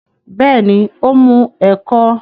Bẹ́ẹ̀ ni, ó mú ẹ̀kọ́